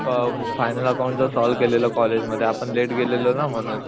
अ final account चा solve केलेला college मध्ये आपण लेट गेलेलो ना म्हणून